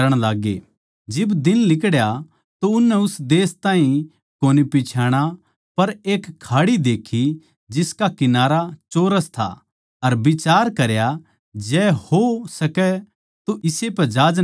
जिब दिन लिकड़या तो उननै उस देश ताहीं कोनी पिच्छाणा पर एक खाड़ी देक्खी जिसका किनारा चौरस था अर बिचार करया के जै हो सकै तो इस्से पै जहाज नै टिकावै